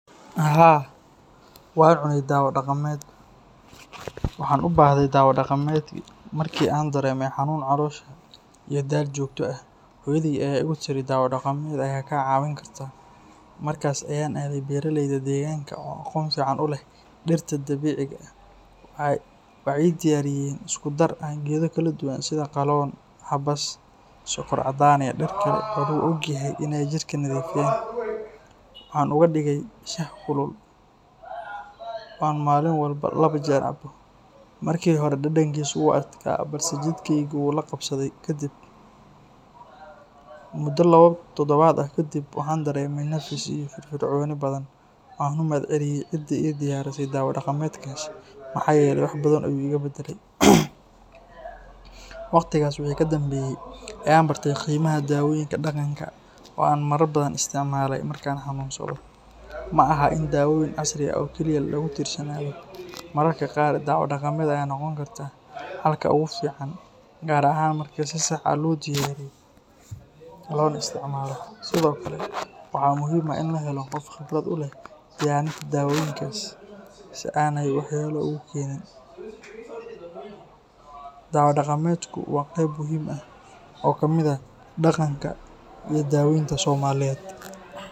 Haa wan cune dawa daqameed waxan ubahde dawo daqameed marki an dareme xanun calosha ito dal jogto ah hooyadey aya igu tiri dawa daqameed aya ka cawin kartaa markas ayan adhe beera leyda u aqon u leh dirta dabiciga ah, waxee diyaren iaku dar sitha qalon abask, marki hore jirkeeda wula qabsade mudo kadiib, mudo lawa tadawaad ah wuxuu iga badale ayan barte dawoyinka daqanka, sithokale waxaa muhiim u ah in la helo qof qibraad u leh dawoyinkas, dawo daqameedka waa dawo kamiid ah daqanka somaliyeed.